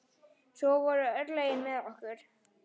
Svo voru örlögin með okkur.